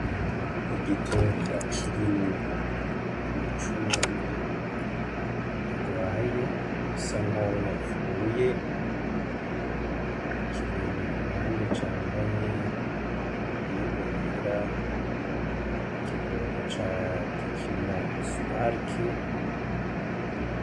Igitunga kirimwo imicungwe irwaye isa nkaho yapfuye, ikirenge ku ruhande cambaye yeboyebo yera ikidodo ca tekeno supareke .